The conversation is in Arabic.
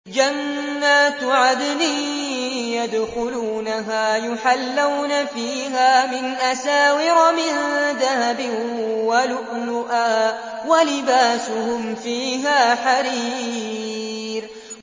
جَنَّاتُ عَدْنٍ يَدْخُلُونَهَا يُحَلَّوْنَ فِيهَا مِنْ أَسَاوِرَ مِن ذَهَبٍ وَلُؤْلُؤًا ۖ وَلِبَاسُهُمْ فِيهَا حَرِيرٌ